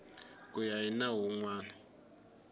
ku ya hi nawu wun